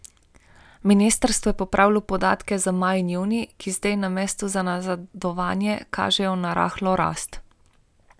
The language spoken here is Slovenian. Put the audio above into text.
Ministrstvo je popravilo podatke za maj in junij, ki sedaj namesto na nazadovanje kažejo na rahlo rast.